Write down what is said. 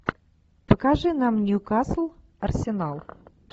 покажи нам ньюкасл арсенал